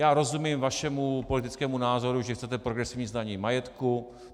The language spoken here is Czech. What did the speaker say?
Já rozumím vašemu politickému názoru, že chcete progresivní zdanění majetku.